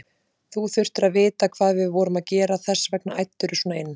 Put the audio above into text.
Þú þurftir að vita hvað við vorum að gera, þess vegna æddirðu svona inn.